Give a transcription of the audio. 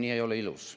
Nii ei ole ilus.